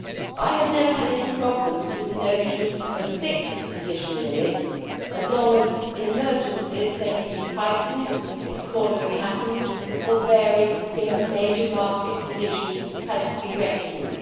I have never had any problems with the notion of fixed position limits, as long as in emergencies they can be tightened if cornering happens or varied if a major market position has to be rescued.